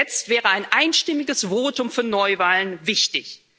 Jetzt wäre ein einstimmiges Votum für Neuwahlen wichtig.